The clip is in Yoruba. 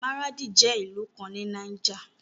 Maradi jẹ́ ìlú kan ní Niger.